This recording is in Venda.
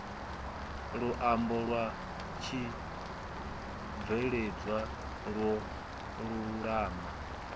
luambo lwa tshibveledzwa lwo lulama